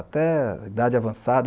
Até a idade avançada,